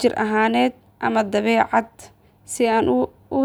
jir ahaaneed ama dabeecadeed si aan.